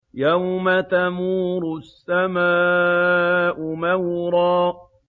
يَوْمَ تَمُورُ السَّمَاءُ مَوْرًا